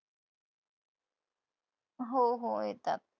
हो हो येतात.